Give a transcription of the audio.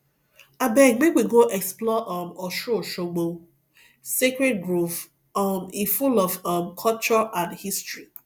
abeg make we go explore um osunosogbo sacred grove um e full of um culture and history